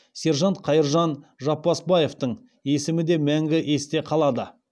сержант қайыржан жаппасбаевтың есімі де мәңгі есте қалады